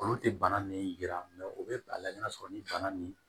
Olu tɛ bana min yira u bɛ a lajɛ n'a sɔrɔ ni bana nin